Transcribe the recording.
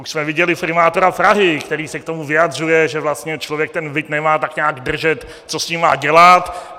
Už jsme viděli primátora Prahy, který se k tomu vyjadřuje, že vlastně člověk ten byt nemá tak nějak držet, co s ním má dělat.